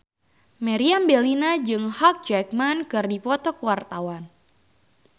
Meriam Bellina jeung Hugh Jackman keur dipoto ku wartawan